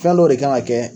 Fɛn dɔw de kan ka kɛ